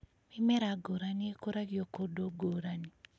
Mĩmera ngũrani ĩkũragio kũndũ ngũrani